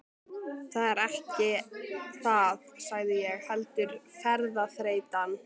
Það er ekki það sagði ég, heldur ferðaþreytan.